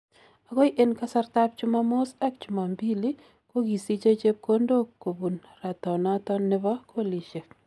Agoi en kasrtab chumomus ak chumombili kogisiche chepkondok kubunratanoton nebo golisiek.